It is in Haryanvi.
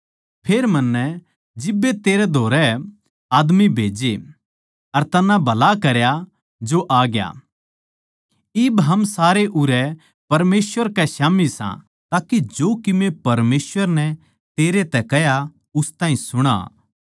फेर मन्नै जिब्बे तेरै धोरै आदमी खन्दाए अर तन्नै भला करया जो आ ग्या इब हम सारे उरै परमेसवर कै स्याम्ही सां ताके जो कीमे परमेसवर नै तेरै तै कह्या उस ताहीं सुणां